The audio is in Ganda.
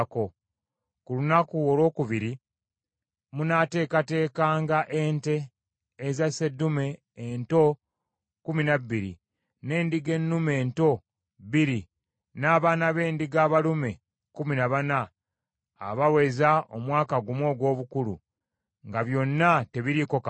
“Ku lunaku olwokubiri munaateekateekanga ente eza sseddume ento kkumi na bbiri, n’endiga ennume ento bbiri n’abaana b’endiga abalume kkumi na bana abaweza omwaka gumu ogw’obukulu, nga byonna tebiriiko kamogo.